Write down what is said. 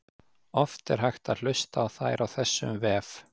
Oft er hægt að hlusta á þær á þessum vef.